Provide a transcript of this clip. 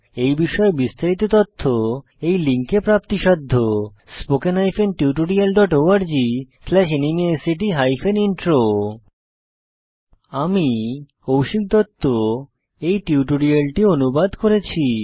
এই বিষয়ে বিস্তারিত তথ্য এই লিঙ্কে প্রাপ্তিসাধ্য spoken hyphen tutorial dot org slash NMEICT hyphen intro আমি কৌশিক দত্ত এই টিউটোরিয়ালটি অনুবাদ করেছি